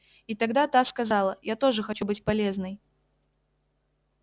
и тогда та сказала я тоже хочу быть полезной